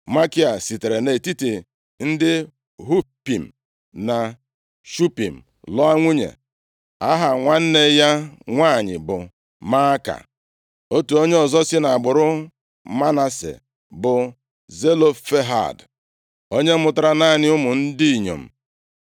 Makia sitere nʼetiti ndị Hupim na Shupim lụọ nwunye. Aha nwanne ya nwanyị bụ Maaka. Otu onye ọzọ si nʼagbụrụ Manase bụ Zelofehad, onye mụtara naanị ụmụ ndị inyom.